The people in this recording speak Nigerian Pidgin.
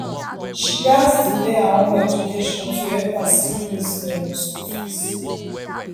she gats delay her own education to help her siblings with dem school fees.